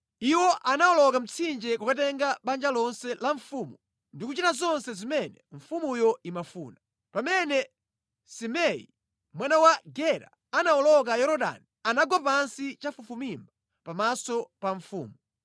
Iwo anawoloka mtsinje kukatenga banja lonse la mfumu ndi kuchita zonse zimene mfumuyo imafuna. Pamene Simei mwana wa Gera anawoloka Yorodani, anagwa pansi chafufumimba pamaso pa mfumu,